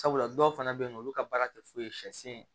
Sabula dɔw fana bɛ yen nɔ olu ka baara tɛ foyi ye sɛ sen ye